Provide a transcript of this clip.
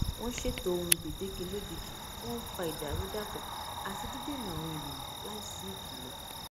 wọn ṣètò ohun gbèdéke lójijì wọn n fa ìdàrúdàpọ àti dídènà àwọn ènìyàn láì sí ìkìlọ